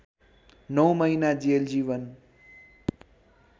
नौ महिना जेल जीवन